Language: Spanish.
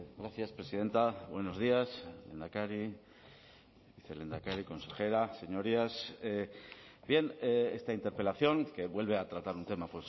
gracias presidenta buenos días lehendakari vicelehendakari consejera señorías bien esta interpelación que vuelve a tratar un tema